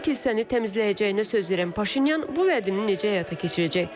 Bəs kilsəni təmizləyəcəyinə söz verən Paşinyan bu vədini necə həyata keçirəcək?